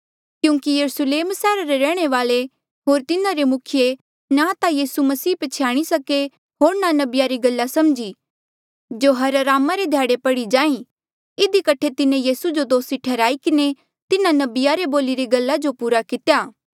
क्यूंकि यरुस्लेम सैहरा रे रैहणे वाले होर तिन्हारे मुखिये ना ता यीसू मसीह प्छ्याणी सके होर ना नबिया री गल्ला समझी जो हर अरामा रे ध्याड़े पढ़ी जाहीं इधी कठे तिन्हें यीसू जो दोसी ठैहराई किन्हें तिन्हा नबिया रे बोलिरी गल्ला जो पूरा कितेया